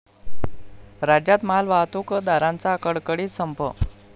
राज्यात मालवाहतूकदारांचा कडकडीत संप